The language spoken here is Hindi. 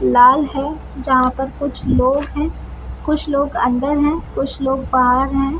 लाल है जहाँ पर कुछ लोग है कुछ लोग अंदर है कुछ लोग बाहर है।